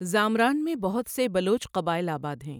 زامران میں بہت سے بلوچ قبائل آباد ہیں۔